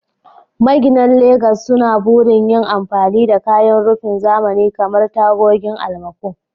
Maginan Legas suna burin yin amfani da kayan rufin zamani kamar tagogin almaco.